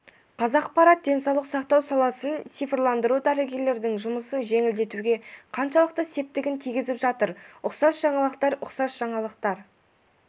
қазақпарат денсаулық сақтау саласын цифрландыру дәрігерлердің жұмысын жеңілдетуге қаншалықты септігін тигізіп жатыр ұқсас жаңалықтар ұқсас жаңалықтар